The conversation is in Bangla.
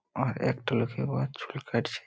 আর একটা লোকই উহা চুল কাটছে।